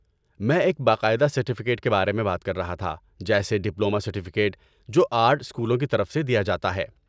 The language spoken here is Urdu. میں ایک باقاعدہ سرٹیفکیٹ کے بارے میں بات کر رہا تھا، جیسے ڈپلومہ سرٹیفکیٹ جو آرٹ اسکولوں کی طرف سے دیا جاتا ہے۔